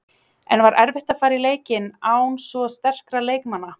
En var erfitt að fara í leikinn án svo sterkra leikmanna?